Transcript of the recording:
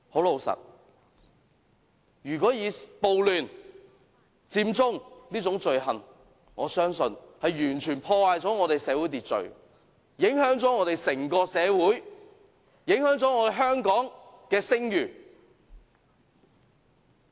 老實說，我相信暴亂、佔中這種罪行完全破壞了社會秩序，影響了整個社會，影響了香港的聲譽。